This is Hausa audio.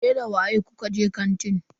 Ke da waye kuka je kantin?